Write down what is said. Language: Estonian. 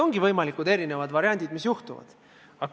Ongi võimalikud erinevad variandid, mis juhtuda võivad.